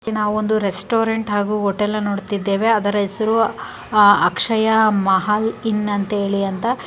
ನಾವೊಂದು ರೆಸ್ಟೋರೆಂಟ್ ಹಾಗು ಹೋಟೆಲ್ ನ ನೋಡ್ತಿದ್ದೇವೆ ಆದರ ಹೆಸರು ಅಕ್ಷಯ ಮಹಲ್ ಇನ್ ಅಂತ ಹೇಳಿ ಅಂತ .